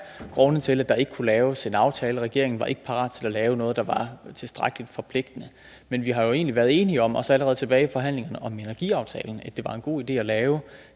grund til at der ikke kunne laves en aftale regeringen var ikke parat til at lave noget der var tilstrækkelig forpligtende men vi har jo egentlig været enige om også allerede tilbage i forhandlingerne om energiaftalen at det var en god idé at lave